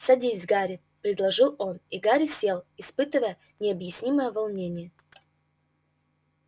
садись гарри предложил он и гарри сел испытывая необъяснимое волнение